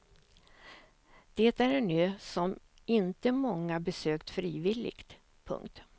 Det är en ö som inte många besökt frivilligt. punkt